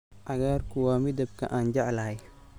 Cagaarku waa midabka aan jeclahay.